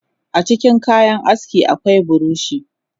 Acikin kayan aski akwai buroshi